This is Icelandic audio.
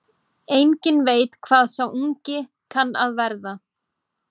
Enginn veit hvað sá ungi kann að verða.